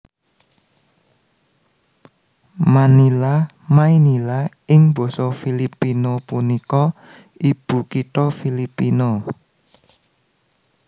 Manila Maynila ing basa Filipino punika ibukitha Filipina